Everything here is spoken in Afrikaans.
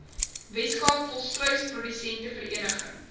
weskaap volstruisprodusente vereniging